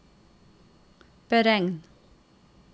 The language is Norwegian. beregn